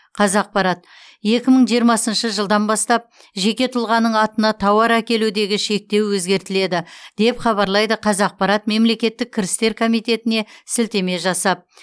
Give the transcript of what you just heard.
қазақпарат екі мың жиырмасыншы жылдан бастап жеке тұлғаның атына тауар әкелудегі шектеу өзгертіледі деп хабарлайды қазақпарат мемлекеттік кірістер комитетіне сілтеме жасап